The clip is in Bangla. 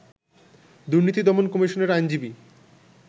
দুর্নীতি দমন কমিশনের আইনজীবী